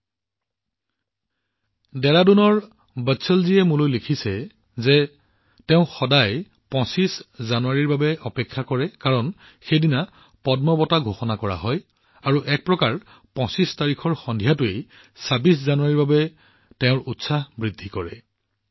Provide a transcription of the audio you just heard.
বন্ধুসকল ডেৰাডুনৰ বৎসলজীয়ে মোলৈ লিখিছে যে তেওঁ সদায় জানুৱাৰীৰ ২৫ তাৰিখলৈ অপেক্ষা কৰে কাৰণ সেইদিনা পদ্ম বঁটা ঘোষণা কৰা হয় আৰু এক প্ৰকাৰে ২৫ তাৰিখৰ সন্ধিয়াটোৱে ২৬ জানুৱাৰীৰ প্ৰতি তেওঁৰ উৎসাহ বৃদ্ধি কৰি তোলে